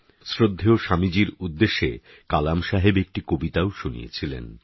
শ্রদ্ধেয় স্বামীজীর উদ্দেশে কালাম সাহেব একটি কবিতাও শুনিয়েছিলেন